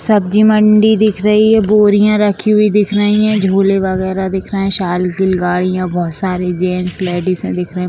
सब्जी मंडी दिख रही है बोरियाँ रखी हुई दिख रही हैं झोले वगेरह दिख रहे हैं गाडियाँ बहुत सारे जेंट्स लेडीजे दिख रहे है ।